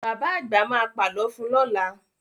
Bàbá àgbà ma pà lọ fun lọ́la